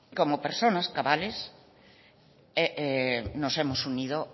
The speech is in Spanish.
como personas cabales nos hemos unido